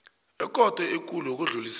ekhotho ekulu yokudlulisela